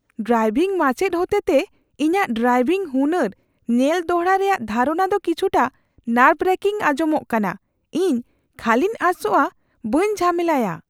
Driving ᱢᱟᱪᱮᱫ ᱦᱚᱛᱮᱛᱮ ᱤᱧᱟᱹᱜ ᱰᱨᱟᱭᱵᱷᱤᱝ ᱦᱩᱱᱟᱹᱨ ᱧᱮᱞ ᱫᱚᱲᱦᱟ ᱨᱮᱭᱟᱜ ᱫᱷᱟᱨᱚᱱᱟ ᱫᱚ ᱠᱤᱪᱷᱩᱴᱟ ᱱᱟᱨᱵᱷᱼᱭᱟᱨᱠᱤᱝ ᱟᱧᱡᱚᱢᱚᱜ ᱠᱟᱱᱟ ᱾ ᱤᱧ ᱠᱷᱟᱹᱞᱤᱧ ᱟᱸᱥᱚᱜᱼᱟ ᱵᱟᱹᱧ ᱡᱷᱟᱢᱮᱞᱟᱭᱟ ᱾